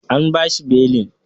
An bashi belin.